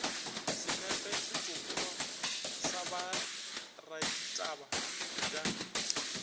senepe setsopolwa sa boraditaba bj